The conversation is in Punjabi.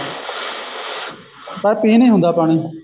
ਤਾਂ ਪੀ ਨਹੀਂ ਹੁੰਦਾ ਪਾਣੀ